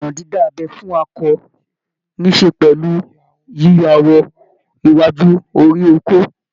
Ìlànà dídá abẹ́ fún akọ ní ṣe pẹ̀lú yíyọ awọ iwájú orí okó